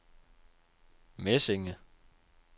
Mesinge